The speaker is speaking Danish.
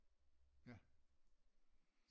Ja